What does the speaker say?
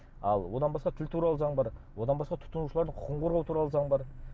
ал одан басқа тіл туралы заң бар одан басқа тұтынушылардың құқығын қорғау туралы заң бар